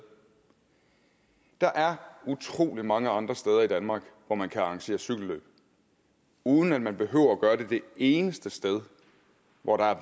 der er utrolig mange andre steder i danmark hvor man kan arrangere cykelløb uden at man behøver at gøre det det eneste sted hvor der er